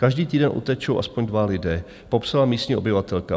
Každý týden utečou aspoň dva lidé," popsala místní obyvatelka.